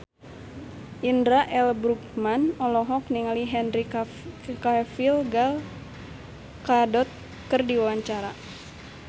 Indra L. Bruggman olohok ningali Henry Cavill Gal Gadot keur diwawancara